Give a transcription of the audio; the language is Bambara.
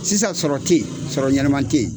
Sisan sɔrɔ tɛ yen sɔrɔ ɲɛnɛma tɛ yen